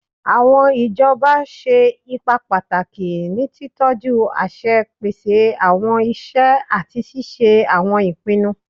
Awọn ijọba ṣe ipa pataki ni titọju aṣẹ, pese awọn iṣẹ, ati ṣiṣe awọn ipinnu